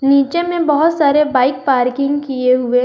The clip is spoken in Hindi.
नीचे में बहुत सारे बाइक पार्किंग किए हुए--